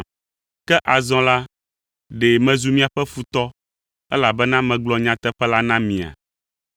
Ke azɔ la, ɖe mezu miaƒe futɔ, elabena megblɔ nyateƒe la na mia?